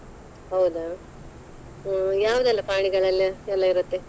ಹೌದಾ ಹ್ಮ್‌ ಯಾವುದೆಲ್ಲ ಪ್ರಾಣಿಗಳೆಲ್ಲ ಎಲ್ಲ ಎಲ್ಲಾ ಇರುತ್ತೆ.